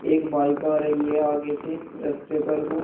एक बाइक आ रही है आगे से रस्ते पर ओ--